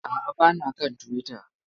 A'a, ba na kan Twitter.